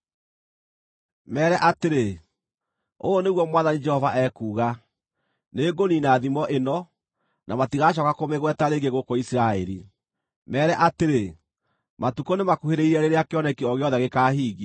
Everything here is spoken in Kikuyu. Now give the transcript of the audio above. Meere atĩrĩ, ‘Ũũ nĩguo Mwathani Jehova ekuuga: Nĩngũniina thimo ĩno, na matigacooka kũmĩgweta rĩngĩ gũkũ Isiraeli.’ Meere atĩrĩ, ‘Matukũ nĩmakuhĩrĩirie rĩrĩa kĩoneki o gĩothe gĩkaahingio.